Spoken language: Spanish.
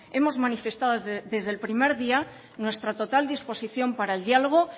hemos manifestado desde el primer día nuestra total disposición para el diálogo